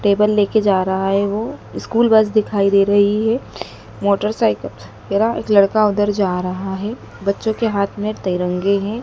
Table ले के जा रहा है वो स्कूल बस दिखाई दे रही है मोटरसाइकिल पर लड़का उधर जा रहा है बच्चों के हाथ में तिरंगे हैं।